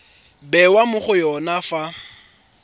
bewa mo go yone fa